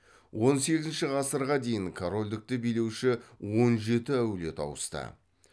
он сегізінші ғасырға дейін корольдікті билеуші он жеті әулет ауысты